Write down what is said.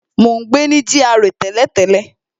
Mo ń gbé ní GRA tẹ́lẹ̀tẹ́lẹ̀